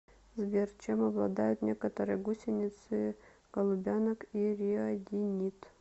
сбер чем обладают некоторые гусеницы голубянок и риодинид